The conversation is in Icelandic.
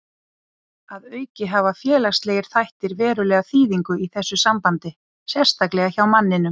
Að auki hafa félagslegir þættir verulega þýðingu í þessu sambandi, sérstaklega hjá manninum.